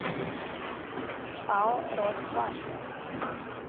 пао росбанк